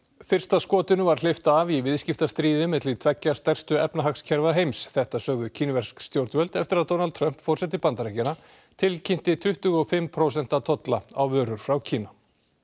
fyrsta skotinu var hleypt af í viðskiptastríði milli tveggja stærstu efnahagskerfa heims þetta sögðu kínversk stjórnvöld eftir að Donald Trump forseti Bandaríkjanna tilkynnti tuttugu og fimm prósent tolla á vörur frá Kína